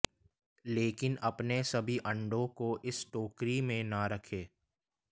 लेकिन अपने सभी अंडों को इस टोकरी में न रखें